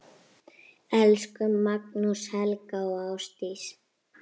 Elsku Magnús, Helga og Ásdís.